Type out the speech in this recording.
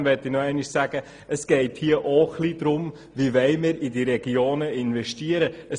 Trotzdem möchte ich nochmals darauf hinweisen, dass es auch darum geht, wie wir in die Regionen investieren wollen.